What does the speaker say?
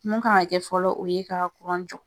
Mun kan ka kɛ fɔlɔ , o ye ka jɔ.